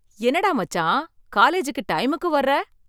என்னடா மச்சான், காலேஜ்க்கு டைம்க்கு வர்ற?